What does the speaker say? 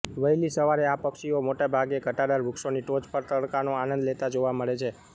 વહેલી સવારે આ પક્ષીઓ મોટેભાગે ઘટાદાર વૃક્ષોની ટોચ પર તડકાનો આનંદ લેતા જોવા મળે છે